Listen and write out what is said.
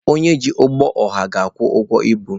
Onye ji ụgbọ ọha na-akwụ ụgwọ ibu.